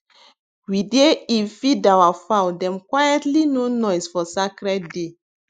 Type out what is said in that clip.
we dey eve feed our fowl dem quietlyno noise for sacred day